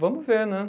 Vamos ver, né?